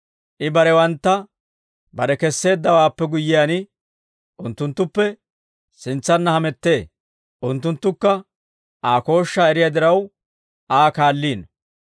I barewantta kare kesseeddawaappe guyyiyaan, unttunttuppe sintsanna hamettee; unttunttukka Aa kooshshaa eriyaa diraw, Aa kaalliino.